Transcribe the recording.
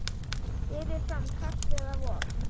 Berið fram kalt eða volgt.